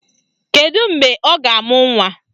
Kedu mgbe ọ ga-amụ nnwa?